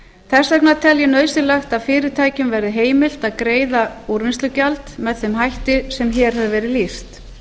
þess vegna tel ég nauðsynlegt að fyrirtækjum verði heimilt að greiða úrvinnslugjald með þeim hætti sem hér hefur verið lýst